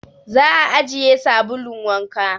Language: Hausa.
Za a ajiye sabulun wanka